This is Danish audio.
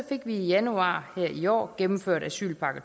fik vi i januar her i år gennemført asylpakke